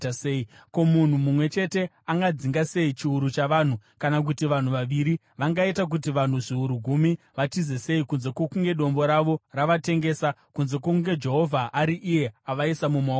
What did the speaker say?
Ko, munhu mumwe chete angadzinga sei chiuru chavanhu, kana kuti vanhu vaviri vangaita kuti vanhu zviuru gumi vatize sei, kunze kwokunge Dombo ravo ravatengesa, kunze kwokunge Jehovha ari iye avaisa mumaoko avo?